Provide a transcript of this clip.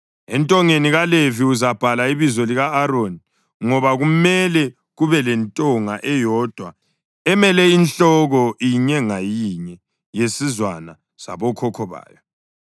Entongeni kaLevi uzabhala ibizo lika-Aroni, ngoba kumele kube lentonga eyodwa emele inhloko inye ngayinye yesizwana sabokhokho bayo.